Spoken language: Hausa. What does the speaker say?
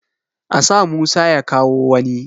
A sa Musa ya kawo wani!